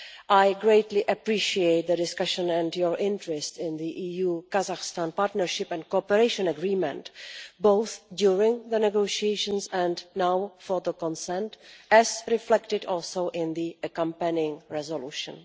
I greatly appreciate the discussion and your interest in the EU Kazakhstan Partnership and Cooperation Agreement, both during the negotiations and now for the consent, as reflected also in the accompanying resolution.